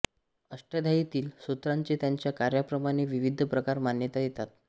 अष्टाध्यायीतील सूत्रांचे त्यांच्या कार्याप्रमाणे विविध प्रकार मानण्यात येतात